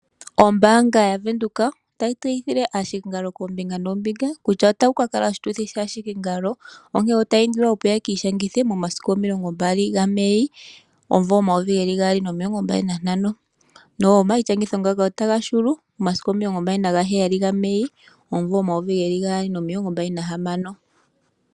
Ombaanga yaVenduka otayi tseyithile aahikingalo koombinga noombinga kutya otaku ka kala oshituthi shaahikingalo. Otaya indilwa opo yeki ishangithe momasiku omilongo mbali gaMei omumvo omayovi gaali nomilongo mbali nantano . Omaishangitho ngano otaga hulu momasiku omilongo mbali nagaheyali gaMei omumvo omayovi gaali nomilongo mbali nahamano.